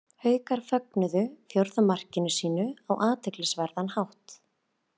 Haukar fögnuðu fjórða marki sínu á athyglisverðan hátt.